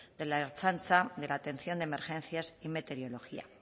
de la ertzaintza de la atención de emergencias y meteorología